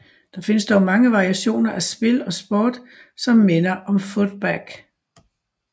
Der findes dog mange variationer af spil og sport som minder om Footbag